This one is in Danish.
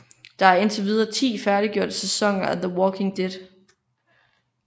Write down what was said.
Der er indtil videre 10 færdiggjorte sæsoner af The Walking Dead